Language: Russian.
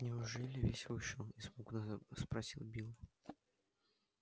неужели весь вышел испуганно спросил билл